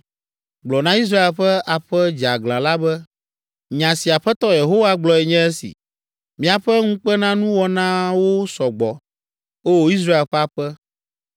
Gblɔ na Israel ƒe aƒe dzeaglã la be, ‘Nya si Aƒetɔ Yehowa gblɔe nye esi. Miaƒe ŋukpenanuwɔnawo sɔ gbɔ, O! Israel ƒe aƒe!